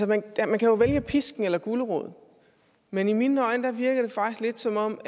man kan jo vælge pisken eller guleroden men i mine øjne virker det faktisk lidt som om